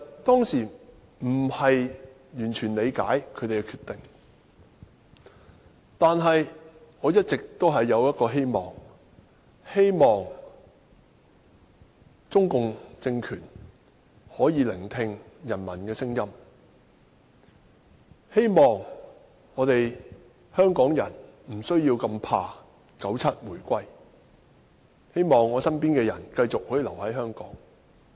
當時我並不完全理解他們的決定，但一直希望中共政權可以聆聽人民的聲音，希望香港人無需懼怕1997年回歸，希望身邊的人可以繼續留在香港。